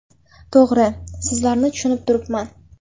To‘g‘ri, sizlarni tushunib turibman.